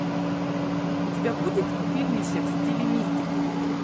у тебя будет фильмище в стиле мистики